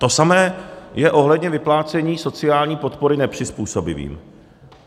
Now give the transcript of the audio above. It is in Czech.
To samé je ohledně vyplácení sociální podpory nepřizpůsobivým.